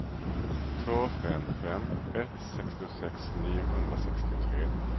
två fem fem ett sextiosex niohundrasextiotre